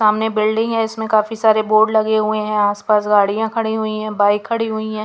सामने बिल्डिंग है इसमें काफी सारे बोर्ड लगे हुए हैं आसपास गाड़ियां खड़ी हुई है बाइक खड़ी हुई है.